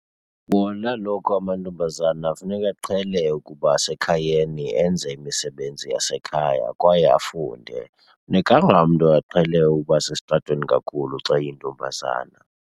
Bona kaloku amantombazana funeka aqhele ukuba sekhayeni, enze imisebenzi yasekhaya kwaye afunde. Funekanga umntu aqhele ukuba sesitratweni kakhulu xa eyintombazana.